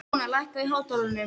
Móna, lækkaðu í hátalaranum.